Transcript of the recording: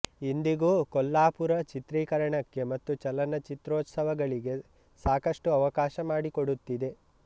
ಇಂದಿಗೂ ಕೊಲ್ಲಾಪುರ ಚಿತ್ರೀಕರಣಕ್ಕೆ ಮತ್ತು ಚಲನಚಿತ್ರೋತ್ಸವಗಳಿಗೆ ಸಾಕಷ್ಟು ಅವಕಾಶ ಮಾಡಿಕೊಡುತ್ತಿದೆ